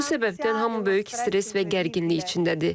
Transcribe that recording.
Bu səbəbdən hamı böyük stress və gərginlik içindədir.